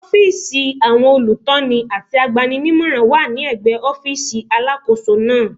Ọ́fíìsì àwọn olùtọ́ni àti agbani-nímọ̀ràn wà ní ẹ̀gbẹ́ ọ́fíìsì Alákóso náà.